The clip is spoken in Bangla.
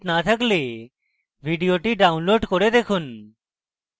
ভাল bandwidth না থাকলে ভিডিওটি download করে দেখুন